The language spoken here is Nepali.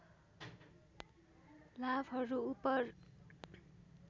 लाभहरू उपर